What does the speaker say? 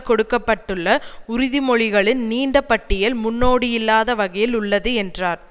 கொடுக்க பட்டுள்ள உறுதிமொழிகளின் நீண்ட பட்டியல் முன்னோடியில்லாத வகையில் உள்ளது என்றார்